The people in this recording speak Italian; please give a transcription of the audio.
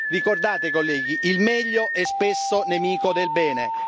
Ricordate, colleghi, il meglio è spesso nemico del bene.